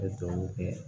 N bɛ dugawu kɛ